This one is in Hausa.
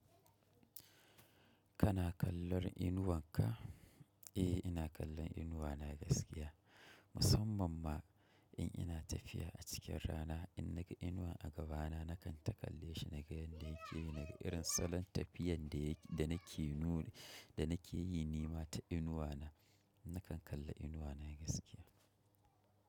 Kana kallon inuwan ka? Eh, ina kallon inuwa na gaskiya. Musamman ma in ina tafiya a cikin rana, in naga inuwa a gabana, nakan ta kalle shi naga yadda yake yi, naga irin salon tafiyan danake nuni da nake yi nema ta inuwa na. Nakan kalla inuwa na gaskiya.